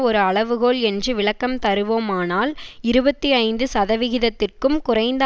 ஒரு அளவுகோல் என்று விளக்கம் தருவோமானால் இருபத்தி ஐந்து சதவிகிதத்திற்கும் குறைந்த